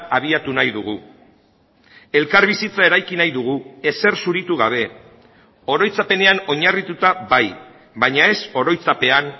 abiatu nahi dugu elkarbizitza eraiki nahi dugu ezer zuritu gabe oroitzapenean oinarrituta bai baina ez oroitzapean